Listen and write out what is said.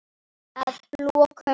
Að lokum